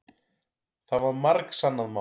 Það var margsannað mál.